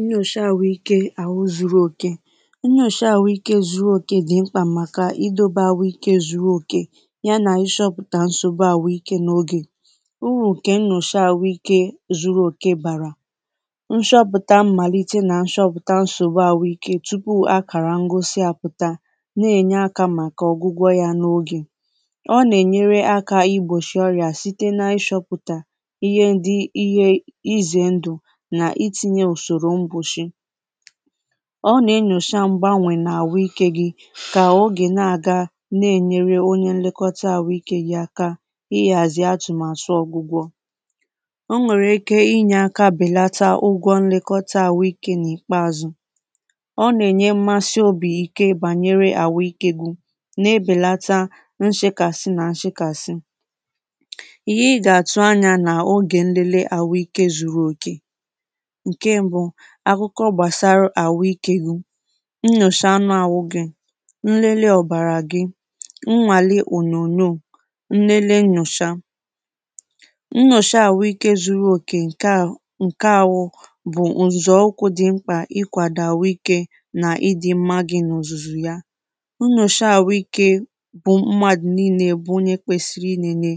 nnyòsha àhụ ikē àhụ zūrū òkè nyòsha àhụ ikē zuru òkè dị̀ mkpà màkà idōbē àhụ ikē zuru òkè ya nà ishọpụ̀ta nsògbu àhụ ikē n’ogè urù ǹke nnọ̀shi àhụ ikē zuru òke bàrà nshọpụ̀ta mmàlite nà nshọpụ̀ta nsògbu àhụ ikē tupu akàrà ngosi àpụ̀ta na-ènya akā màkà ọ̀gwụgwọ yā n’ogè ọ nà-ènyere akā igbòshì ọrị̀a site na-ịshọ̄pụ̀tà ihe ndị ihe izè ndụ̀ nà itīnyē ụ̀sụ̀rụ̀ ngụshị ọ nà-enyòsha mgbawè n’àhụ ikē gī kà ogè na-àga na-ènyere onye nlekọta àhụ ikē gī aka ihàzì atụ̀màtụ ọ̄gwụ̄gwọ̄ o nwèrè ike inyē ākā bèlata ụgwọ nlekọta àhụ ikē n’ìkpeāzụ̄ ọ nà-ènye mmasi obì ike gbànyere àhụ ikē gī na-ebèlata nshekàsị nà nshekàsị ihe ị gà-àtụ anyā n’ogè ndị le àhụ ikē zūrū òkè ǹke m̄bụ̄ akụkọ gbàsaru àhụ ikē gụ̄ nnyòsha anụ àhụ gị̄, nnele ọ̀bàrà gị nwàli ònyònyoò, nnele nnyòsha nnọ̀shi àhụ ikē zūrū òkè ǹke ā ǹke āhụ̄ bụ̀ ǹzọ̀ụkwụ̄ dị̄ mkpà ikwàdò àhụ ikē nà ịdị̄ m̄mā gị̀ nà ọ̀zụ̀zụ̀ ya nnyòsha àhụ ikē bụ mmadụ̀ niīnē bụ onye kwēsir̄ī inēnē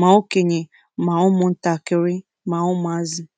mà okènyè, mà ụmụ̀ntàkịrị, mà ụmụ̀azị̀